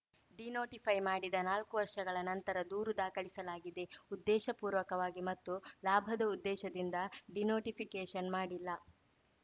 denotify ಮಾಡಿದ ನಾಲ್ಕು ವರ್ಷಗಳ ನಂತರ ದೂರು ದಾಖಲಿಸಲಾಗಿದೆ ಉದ್ದೇಶಪೂರ್ವಕವಾಗಿ ಮತ್ತು ಲಾಭದ ಉದ್ದೇಶದಿಂದ ಡಿನೋಟಿಫಿಕೇಷನ್‌ ಮಾಡಿಲ್ಲ